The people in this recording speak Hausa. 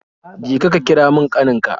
Je ka, ka kira mun kanin ka